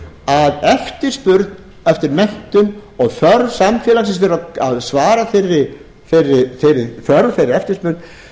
að eftirspurn eftir menntun og þörf samfélagsins til að svara þeirri þörf fyrir þeirri eftirspurn